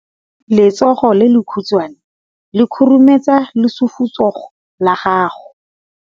Letsogo le lekhutshwane le khurumetsa lesufutsogo la gago.